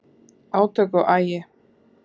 Átök og agi